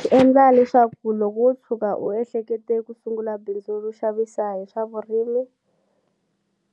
Swi endla leswaku loko wo tshuka u ehlekete ku sungula bindzu ro xavisa hi swa vurimi